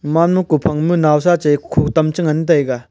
manma kophang ma nausa chai khotam che ngan taiga.